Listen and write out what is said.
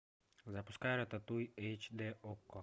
запускай рататуй эйч дэ окко